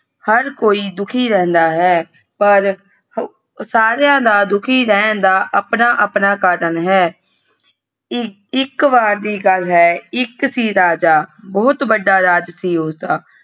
ਹਰ ਕੋਈ ਦੁਖੀ ਰਹਿੰਦਾ ਹੈ ਪਰ ਸਾਰਿਆਂ ਦਾ ਦੁਖੀ ਰਹਿਣ ਅਪਣਾ ਅਪਣਾ ਕਾਰਨ ਹੈ ਇਕ ਇਕ ਵਾਰ ਦੀ ਗੱਲ ਹੈ ਇਕ ਸੀ ਰਾਜਾ ਬਹੁਤ ਵੱਡਾ ਰਾਜ ਸੀ ਊੜਾ।